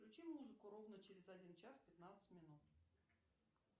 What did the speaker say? включи музыку ровно через один час пятнадцать минут